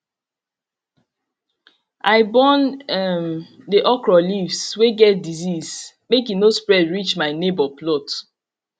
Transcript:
i burn um the okra leaves wey get disease make e no spread reach my neighbour plot